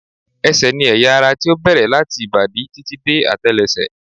Ẹsẹ̀ ni ẹ̀yà ara tí ó bẹ̀rẹ̀ láti ìbàdí títí dé àtẹ́lẹsẹ̀